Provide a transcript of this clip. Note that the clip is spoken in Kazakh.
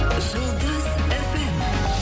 жұлдыз фм